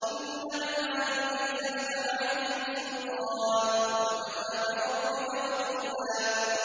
إِنَّ عِبَادِي لَيْسَ لَكَ عَلَيْهِمْ سُلْطَانٌ ۚ وَكَفَىٰ بِرَبِّكَ وَكِيلًا